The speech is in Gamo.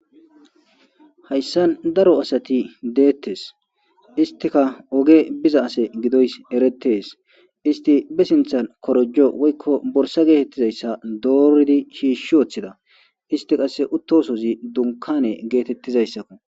hayssan daro asati deettes. istika oge biza ase gidoys eretees. isti be sinthan korojo woykko borsa geetettizayssa dooridi shiishshi woththida. isti qasse uttosozi dunkane geetettizayssakko.